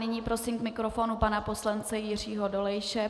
Nyní prosím k mikrofonu pana poslance Jiřího Dolejše.